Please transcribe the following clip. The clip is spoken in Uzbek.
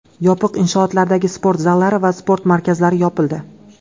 Yopiq inshootlardagi sport zallari va sport markazlari yopildi.